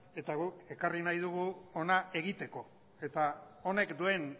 eta guk ekarri nahi dugu hona egiteko eta honek duen